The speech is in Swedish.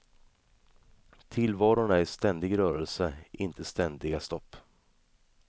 Tillvaron är i ständig rörelse, inte ständiga stopp.